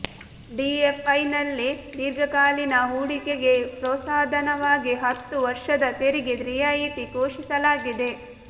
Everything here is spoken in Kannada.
ಡಿಎಫ್ಐನಲ್ಲಿ ದೀರ್ಘಕಾಲೀನ ಹೂಡಿಕೆಗೆ ಪ್ರೋತ್ಸಾಹಧನವಾಗಿ ಹತ್ತು ವರ್ಷದ ತೆರಿಗೆ ರಿಯಾಯಿತಿ ಘೋಷಿಸಲಾಗಿದೆ